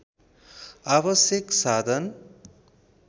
आवश्यक साधन